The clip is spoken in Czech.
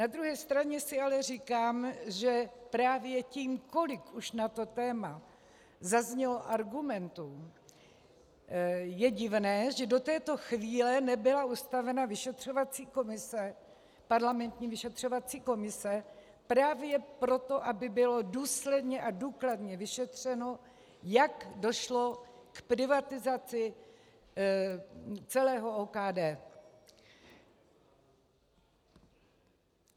Na druhé straně si ale říkám, že právě tím, kolik už na to téma zaznělo argumentů, je divné, že do této chvíle nebyla ustavena vyšetřovací komise, parlamentní vyšetřovací komise, právě proto, aby bylo důsledně a důkladně vyšetřeno, jak došlo k privatizaci celého OKD.